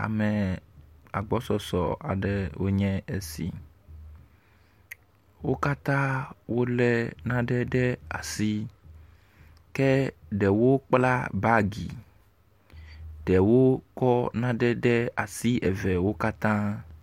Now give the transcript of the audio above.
Ame agbɔsɔs aɖe wonye esi. Wo katã wo le nane ɖe asi ke ɖewo kpla bagi. ɖewo kɔ nane ɖe asi eve wo katã.